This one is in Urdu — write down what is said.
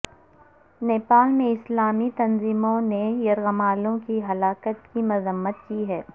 نیپال میں اسلامی تنظیموں نے یرغمالیوں کی ہلاکت کی مذمت کی ہے